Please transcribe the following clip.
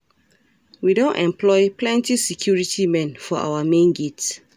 We don employ plenty security men for our main gate